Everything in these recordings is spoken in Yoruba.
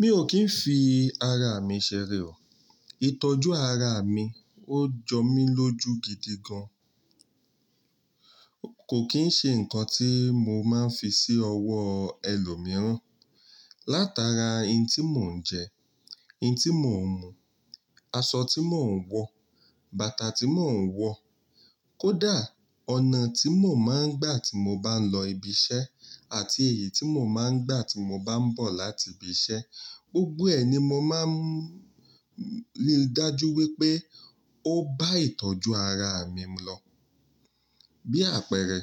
Mi ò kí ń fi ara mi ṣeré o. Itọ́jú ara mi ó jọ mí lóju gidi gan. Kò kín ṣe ǹkan tí mo máa ń fi sí ọwọ́ ẹlòmíràn. Látara ohun tí mò ń jẹ, ohun tí mò ń mú, aṣọ tí mò ń wọ̀, bàtà tí mò ń wọ̀, kódà ọ̀nà tí mò máa ń gbà tí mo bá ń lọ ibi iṣẹ́ àti èyí tí mò máa ń gbà tí mo bá ń bọ̀ láti ibi iṣẹ́, gbogbo ẹ ní mo máa ń rí dájú wípé ó bá ìtọ́jú ara mi lọ. Bí àpẹẹrẹ,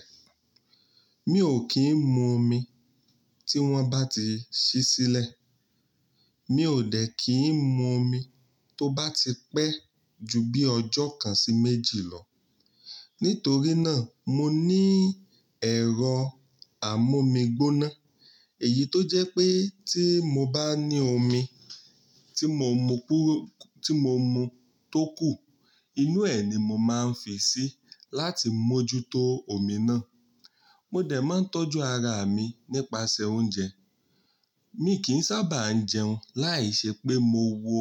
mi ò kí ń mú omi tí wón bá ti ṣí sílẹ̀. Mi ò dẹ́ kí ń mú omi tó bá ti pẹ́ ju bí ọjọ́ kan sí méjì lọ. Nítorí náà, mo ní ẹ̀rọ amómigbóná. Èyí tó jẹ́ pé tí mo bá ní omi tí mo mú tó kù, inú ẹ̀ ni mo máa ń fi sí láti mójútó omi náà. Mo dẹ̀ máa ń tọ́jú ara mi nípasẹ̀ oúnjẹ. Mi kì ń sábà ń jẹun láìṣẹ́ pé mo wo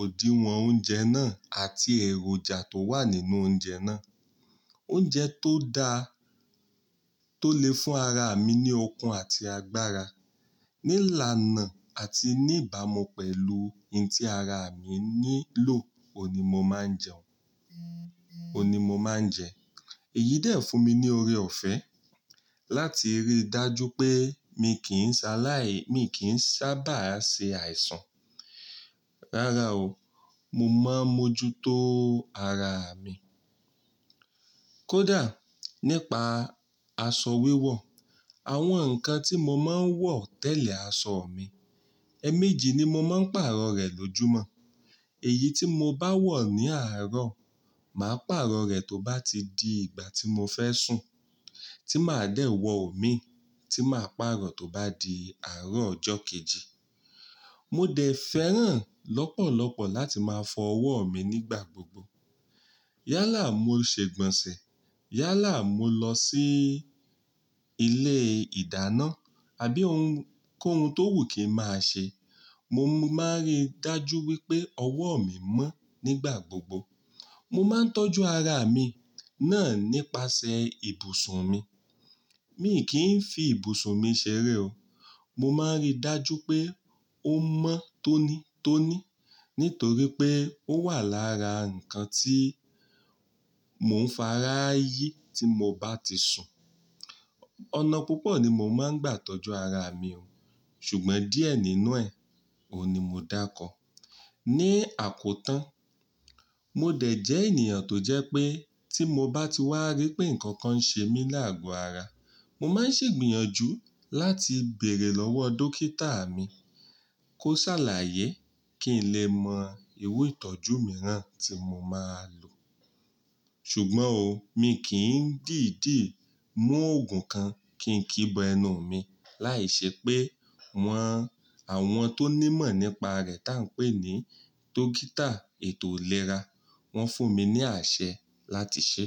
òdiwọ̀n oúnjẹ náà àti èròjà tó wà nínú oúnjẹ náà. Oúnjẹ tó da tó lè fún ara mi ní okun àti agbára, ní ìlànà àti ní ìbámu pẹ̀lú ohun tí ara mi nílò, òun ní mo máa ń jẹ òun ni mo máa ń jẹ. Èyí dẹ̀ fún mi ní ore-ọ̀fẹ́ láti rí dájú pé mi kì ń ṣaláì-- mi kì ń sábà ṣe àìsàn. Rárá o, mo máa ń mójútó ara mi. Kódà nípa aṣọ wíwọ̀, àwọn ǹkan tí mo máa ń wọ̀ tẹ̀lé aṣọ mi, èẹ̀mejì ni mo máa ń pàrọ̀ rẹ̀ lójúmọ́. Èyí tí mo bá wọ̀ ní àárọ̀, màá pàrọ̀ rẹ̀ tó bá ti di ìgbà tí mo fẹ́ sùn. Tí màá dẹ̀ wọ̀ òmí, tí màá pàrọ̀ tó bá di àárọ̀ ọjọ́ kejì. Mo dẹ̀ fẹ́ràn lọ́pọ̀lọpọ̀ láti máa fọ ọwọ́ mi nígbà gbogbo. Yálà mó ṣé gbọ̀nsẹ̀, yálà mó lọ sí ilé ìdáná, àbí ohun kóhun tó wù kí n máa ṣẹ, mo máa ń rí dájú wípé ọwọ́ mi mọ́ nígbà gbogbo. Mo máa ń tọ́jú ara mi náà nípasẹ̀ ibùsùn mi. Mi kì ń fi ibùsùn mi ṣeré o. Mo máa ń rí dájú pé ó mọ́ tónítóní nítorí pé ó wà lára ǹkan tí mò ń fara yí tí mo bá ti sùn. Ọ̀nà púpọ̀ ni mo máa ń gbà tọ́jú ara mi o, ṣùgbọ́n díẹ̀ nínú ẹ, òun ní mo dáákọ. Ni àkótán, mo dẹ̀ jẹ́ ènìyàn tó jẹ́ pé tí mo bá ti wá rí pé ǹkan kan ń ṣe mí làágò ara, mo máa ń ṣègbìyànjú láti bèèrè lọ́wọ́ dókítà mi kó ṣàlàyé kí n lè mọ irú ìtọ́jú mìíràn tí mo máa lò. Ṣùgbọ́n o, mi kì ń dìídì mú òògùn kan kí n kíbo ẹnu mi láìṣẹ́ pé, àwọn tó ní'mọ̀ nípa rẹ̀ tá ń pè ní dókítà ètò ìlera, wọ́n fún mi ní àṣẹ láti ṣe.